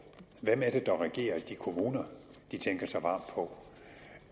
hvem det er der regerer i de kommuner de tænker så varmt på